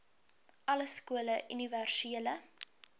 alle skole universele